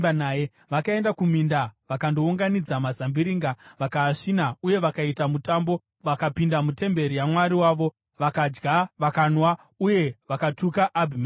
Vakaenda kuminda vakandounganidza mazambiringa vakaasvina uye vakaita mutambo. Vakapinda mutemberi yamwari wavo, vakadya vakanwa uye vakatuka Abhimereki.